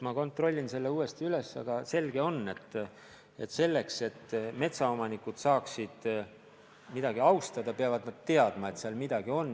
Ma kontrollin selle uuesti üle, aga selge on, et selleks, et metsaomanikud saaksid mingit kohta austada, peavad nad teadma, et seal midagi on.